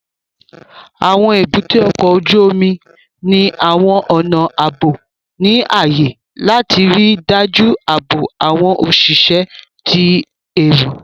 Àwọn èbúté ọkọ̀ ojú omi ní àwọn ọnà ààbò ní ààyè láti ríi dájú ààbò àwọn òṣìṣẹ́ àti ẹrù